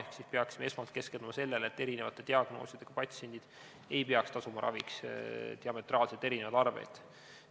Ehk me peaksime esmalt keskenduma sellele, et erineva diagnoosiga patsiendid ei peaks tasuma raviks diametraalselt erinevaid arveid.